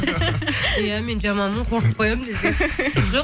иә мен жаманмын қорқытып қоямын десең жоқ